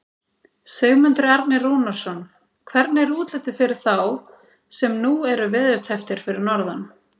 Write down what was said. Sigmundur Ernir Rúnarsson: Hvernig er útlitið fyrir þá sem nú eru veðurtepptir fyrir norðan?